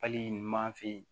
Hali ni man fin